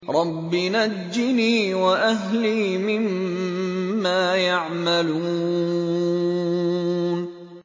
رَبِّ نَجِّنِي وَأَهْلِي مِمَّا يَعْمَلُونَ